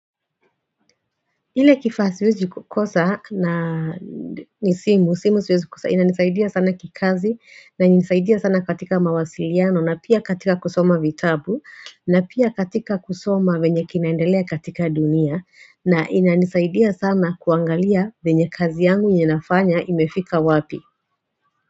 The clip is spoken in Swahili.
Ile kifaa siwezi kukosa na ni simu, simu siwezi kukosa ina nisaidia sana kikazi na nisaidia sana katika mawasiliano na pia katika kusoma vitabu na pia katika kusoma venye kinaendelea katika dunia na ina nisaidia sana kuangalia venye kazi yangu ninafanya imefika wapi?